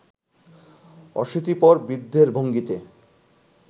অশীতিপর বৃদ্ধের ভঙ্গিতে